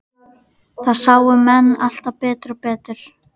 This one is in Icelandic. Það sáu menn alltaf betur og betur.